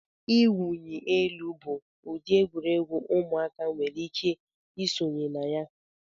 Iwunyi elu bụ ụdị egwuregwu ụmụaka nwere ike isonye na ya.